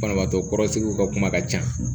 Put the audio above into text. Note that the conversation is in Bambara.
Banabaatɔ kɔrɔsigiw ka kuma ka ca